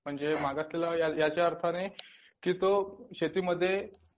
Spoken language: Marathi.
म्हणजे मागासलेला वर्गाच्या अर्थाने की तो शेतीमध्ये